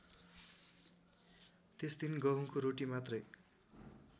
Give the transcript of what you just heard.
त्यसदिन गहुँको रोटी मात्रै